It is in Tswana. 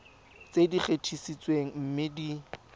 tse di gatisitsweng mme di